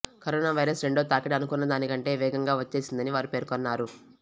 corona virus రెండో తాకిడి అనుకున్నదానికంటే వేగంగా వచ్చేసిందని వారు పేర్కొన్నారు